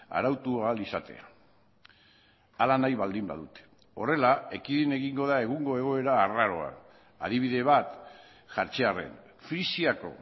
arautu ahal izatea hala nahi baldin badute horrela ekidin egingo da egungo egoera arraroa adibide bat jartzearren frisiako